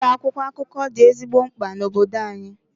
Ụlọ akwụkwọ akụkọ dị ezigbo mkpa na obodo anyị.